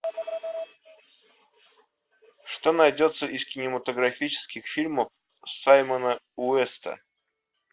что найдется из кинематографических фильмов саймона уэста